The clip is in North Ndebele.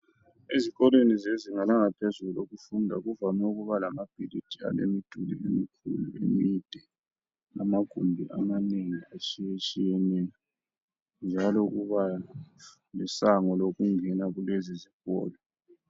Ezikolweni zezinga langaphezulu, elokufunda, kuvame ukuba lamabhilidi, alemiduli emikhulu, emide. Lamagumbi amanengi, atshiyatshiyeneyo, njalo kuba lesango, lokungena kulezizikolo.